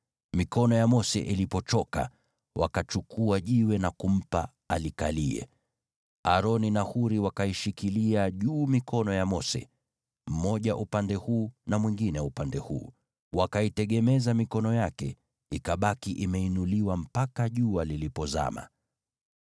Mikono ya Mose ilipochoka, wakachukua jiwe na kumpa alikalie. Aroni na Huri wakaishikilia juu mikono ya Mose, mmoja upande huu na mwingine upande huu. Wakaitegemeza mikono yake ikabaki thabiti mpaka jua lilipozama.